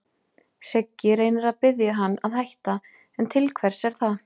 Siggi reynir að biðja hann að hætta, en til hvers er það?